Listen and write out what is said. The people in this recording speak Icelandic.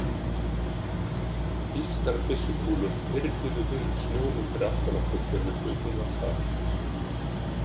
Þýskar byssukúlur þyrluðu upp snjónum fyrir aftan okkur þegar við hlupum af stað.